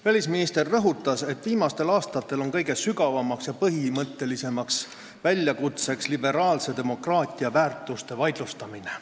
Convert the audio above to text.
Välisminister rõhutas, et viimastel aastatel on kõige sügavam ja põhimõttelisem väljakutse olnud liberaalse demokraatia väärtuste vaidlustamine.